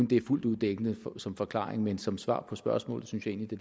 det er fuldt ud dækkende som forklaring men som svar på spørgsmålet synes jeg egentlig